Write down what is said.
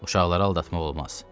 Uşaqları aldatmaq olmaz.